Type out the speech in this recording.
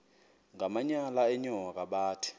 ngamanyal enyoka bathi